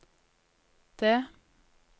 D